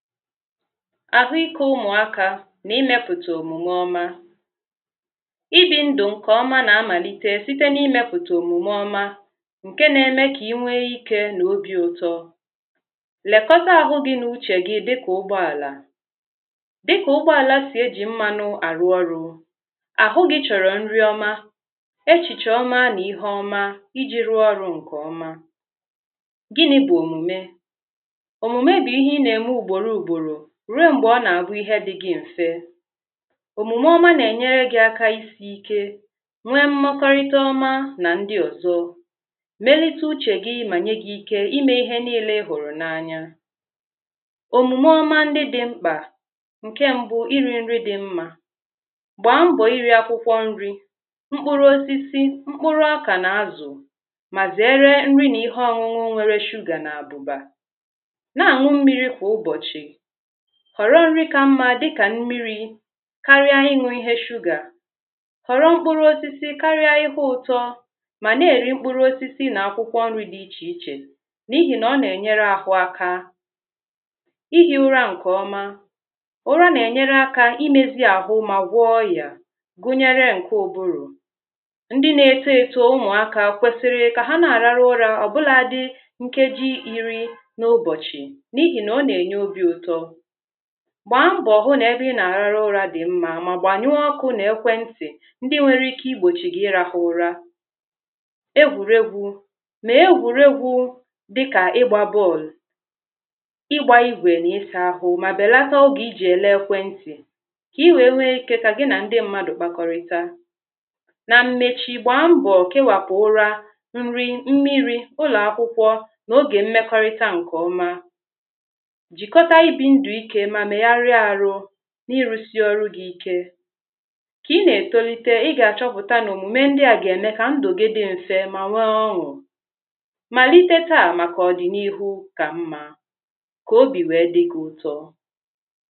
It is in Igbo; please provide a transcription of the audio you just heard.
Ahụikè ụmụakà ma imepụtà omumè ọmà Ibì ndụ̀ nkeọmà na amalitè sitè na imepụtà omumè ọmà nkè na emè kà inwe ikè na obi ụtọ̀ lekọtà ahụ̀ gị̀ na uche gi dịkà ụgbọalà Dịkà ụgbọalà siejì mmanụ̀ e ji arụ̀ ọrụ̀ hhụ gị̀ chọrọ̀ nrị ọmà Echichè ọmà na ihe ọmà Ijì rụọ ọrụ̀ nkè ọmà Gịnị bụ̀ omumè? Omumè bụ̀ ihè ị nà enwe ugborò ugborò ruo mgbe ọ nà abụ ihe dị gị mfè omumè ọmà nà enyerè gi akà isike nwè mmakwarịtà ọmà na ndị ọzọ̀ melite ̀ uchè gì ma nye gị̀ ike ime ihe niile ị hụrụ̀ na anyà omumè ọmà ndị̀ dị mkpà nke mbụ̀ iri nri dị̀ mmà gbaa mbọ̀ iri akwụkwọ̀ nrì mkpụrụ̀ osisi, mkpụrụ̀ ọkà na azụ̀ ma zere nri na ihe ọn̄ụn̄ụ nwerè sugar nà abụbà na an̄ụ mmiri kwa ụbọchị̀ họrọ̀ nri ka mmà dịkà mmiri karie ị n̄ụ ihe sugar họrọ̀ mkpụrụ̀ osisi karie ihe ụtọ̀ mana eri mkpụrụ̀ osisi na akwụkwọ̀ nrì dị iche ichè na ihi na ọ na-enyerè ahụ̀ akà ihi ụrà nke ọmà ụrà na-enyere akà imezi ahụ̀ mà gwụọ̀ ọyà gunyere nkè ụbụrụ̀ ndị̀ na eto eto ụmụakà kwesiri ka ha na ararụ̀ ụrà ọbụla dị̀ nkejì iri na ụbọchị̀ na ihi na ọ na-enyè obi ụtọ̀ gbambọ hụ na ebe ị na-ararụ̀ dị mmà ma gbanyụọ̀ ọkụ na ekwentị̀ ndị nwere ike igbochi gi irahụ̀ ụrà egwuregwù mee egwuregwù dịkà ịgba bọọlụ̀ ịgbà igwè na ịsa ahụ ma belatà oge i jì ele ekwentị̀ ka i nwee ike ka gị na ndị mmadụ̀ kpakọrịtà na mmechì gbaa mbọ ka ịwakwà ụrà nri, mmiri, ụlọakwụkwọ̀ na oge mmekọrịtà nke ọmà jikotà ibi ndụike ma megharià arụ̀ na ịrụsị ọrụ̀ gị ikè ka ị na etolitè i̇ gà achọpụtà na omume ndịà ga-eme ka ndụ gị dị mfe ma nwè ọn̄ụ̀ malite taà makà ọdịnihu ka mmà ka obi weè dị gị ụtọ̀